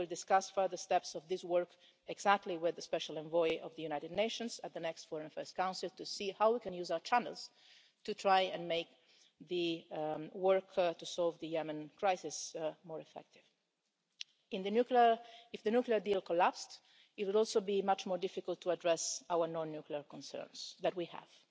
We will discuss further steps of this work exactly with the special envoy of the United Nations at the next Foreign Affairs Council to see how we can use our channels to try and make the work to solve the Yemen crisis more effective. If the nuclear deal collapsed, it would also be much more difficult to address our non-nuclear concerns that we